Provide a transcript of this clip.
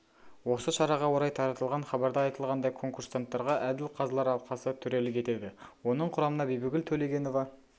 осы шараға орай таратылған хабарда айтылғандай конкурсанттарға әділ қазылар алқасы төрелік етеді оның құрамына бибігүл төлегенова